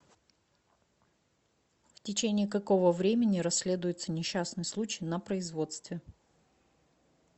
в течении какого времени расследуется несчастный случай на производстве